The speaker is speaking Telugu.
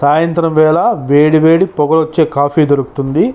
సాయంత్రం వేళా వేడి వేడి పొగలు వచ్చే కొఫ్ఫి దొరుకుంటుంది.